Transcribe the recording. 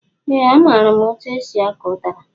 Ee a maara m etụ esị akọ udara